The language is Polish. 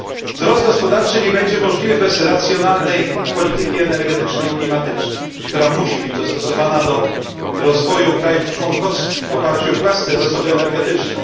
Wzrost gospodarczy nie będzie możliwy bez racjonalnej polityki energetycznej i klimatycznej, która musi być dostosowana do rozwoju krajów członkowskich w oparciu o własne zasoby energetyczne.